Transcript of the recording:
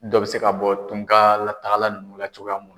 Dɔ bɛ se ka bɔ tunkan latagala nunna cogoya mun.